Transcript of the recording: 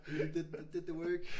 You did the did the work